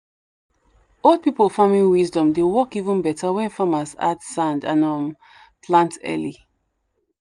old people farming wisdom dey work even better when farmers add sand and um plant early.